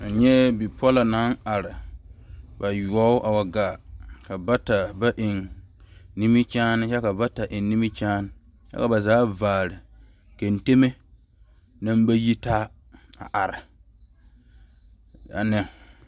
N nyɛɛ bipɔlɔ naŋ are, bayɔɔbo a wa gaa ka bata ba eŋe nimikyaane kyɛ ka bata eŋe nimikyaane kyɛ ka ba zaa vaare kenteme naŋ ba yitaa a are ne